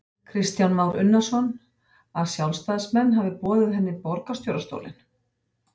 Kristján Már Unnarsson: Að sjálfstæðismenn hafi boðið henni borgarstjórastólinn?